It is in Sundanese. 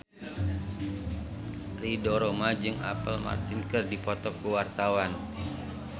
Ridho Roma jeung Apple Martin keur dipoto ku wartawan